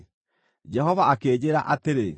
Jehova akĩnjĩĩra atĩrĩ,